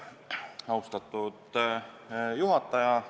Austatud juhataja!